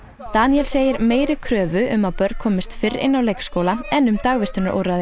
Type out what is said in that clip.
Daníel segir meiri kröfu um að börn komist fyrr inn á leikskóla en um dagvistunarúrræði